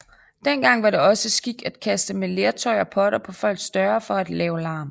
Dengang var det også skik at kaste med lertøj og potter på folks døre for at lave larm